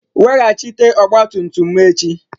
Weghachite ọgba tum tum m echi!